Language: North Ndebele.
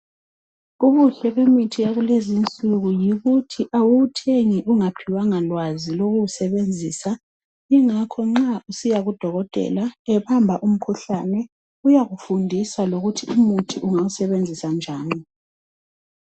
ubuhle bemithi yakulezinsuku yikuthi awuwuthengi ungaphiwanga lwazi lokuwusebenzisa ingakho nxa usiya ku dokotela ebamba umkhuhlane uyakufundisa lokuthi umuthi ungawusebenzisa njani